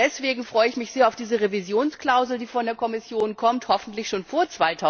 sein. Deswegen freue ich mich sehr auf diese Revisionsklausel, die von der Kommission kommt hoffentlich schon